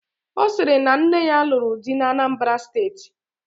Ọ sịrị na nne ya lụrụ di n'Anambara steeti